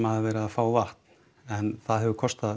hafa verið að fá vatn en það hefur kostað